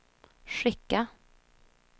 skicka